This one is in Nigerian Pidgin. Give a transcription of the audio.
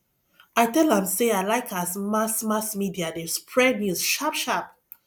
i tell am sey i like as mass mass media dey spread news sharpsharp